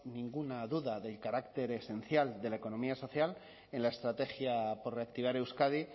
ninguna duda de carácter esencial de la economía social en la estrategia por reactivar euskadi